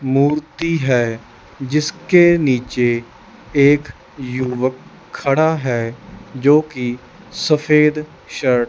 मूर्ति है जिसके नीचे एक युवक खड़ा है जोकि सफेद शर्ट --